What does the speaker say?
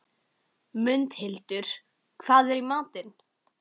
Mundhildur, hvað er í matinn?